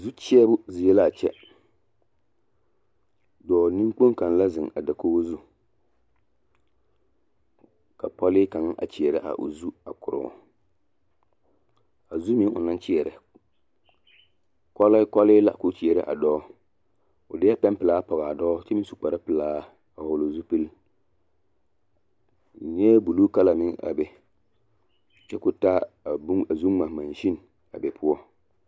Zu kyeɛbo zie la a kyɛ, dɔɔ neŋkpoŋ kaŋa la zeŋ a dakogo zu ka pɔlee kaŋ a kyeɛrɛ a o zu a koroo, a zu meŋ onaŋ kyeɛrɛ, kɔleekɔlee la k'o kyeɛrɛ a dɔɔ o deɛ pɛmpelaa pɔge a dɔɔ kyɛ meŋ su kpare pelaa a hɔgele zupili n nyɛɛ buluu kala meŋ a be kyɛ k'o taa bone a zu ŋma monsin a be poɔ.